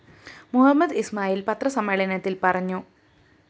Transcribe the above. മുഹമ്മദ് ഇസ്മായില്‍ പത്രസമ്മേളനത്തില്‍ പറഞ്ഞു